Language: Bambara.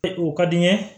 O ka di n ye